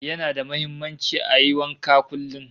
Yana da muhimmanci ayi wanka kullum